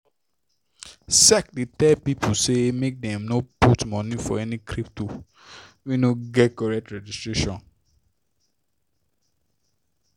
sec dey tell people say make dem no put money for any crypto wey no get correct registration